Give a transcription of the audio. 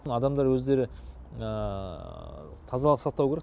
адамдар өздері тазалық сақтау керек